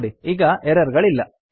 ನೋಡಿ ಈಗ ಎರರ್ ಗಳಿಲ್ಲ